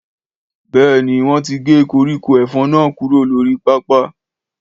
Béèni wọn ti gé koríko efòn náà kúrò lórí pápá